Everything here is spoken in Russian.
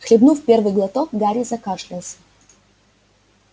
хлебнув первый глоток гарри закашлялся